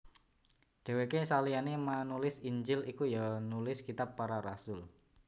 Dhèwèke saliyané manulis Injil iku ya nulis kitab Para Rasul